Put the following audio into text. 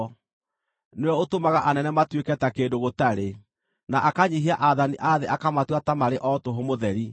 Nĩwe ũtũmaga anene matuĩke ta kĩndũ gũtarĩ, na akanyiihia aathani a thĩ akamatua ta marĩ o tũhũ mũtheri.